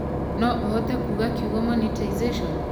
no ũhote kuuga kiugo monetization